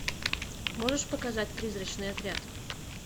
можешь показать призрачный отряд